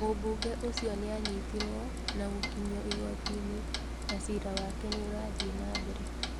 Mũmbunge ũcio nĩanyitirwo na gũkinyio igoti-inĩ na cira wake nĩũrathiĩ na mbere.